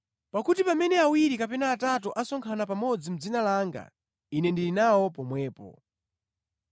Pakuti pamene awiri kapena atatu asonkhana pamodzi mʼdzina langa, Ine ndili nawo pomwepo.”